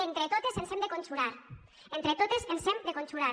entre totes ens hem de conjurar entre totes ens hem de conjurar